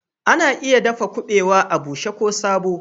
Ana iya dafa kubawa a bushe ko sabo